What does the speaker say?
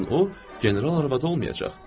O zaman o general arvadı olmayacaq.